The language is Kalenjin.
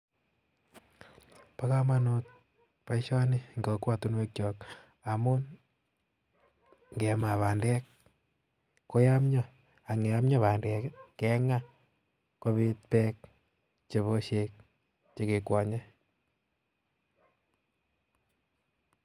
Bo komonut boishoni eng kokwotinekyok ngamun ngemaa bandek koyomyoo ak yeyomyoo bandek kengaa kobiit beek chebo busiek chekekwonye